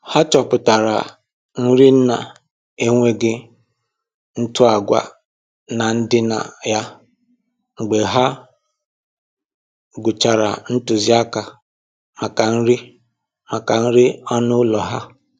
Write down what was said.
Ha chọpụtara nri nna-enweghị ntụ agwa na ndịna ya mgbe ha gụchara ntụziaka maka nri maka nri anụ ụlọ ha